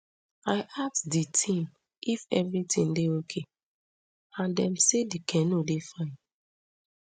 i ask di team if evritin dey ok and dem say di canoe dey fine